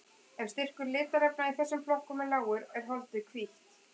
Ef styrkur litarefna í þessum flokkum er lágur er holdið hvítt.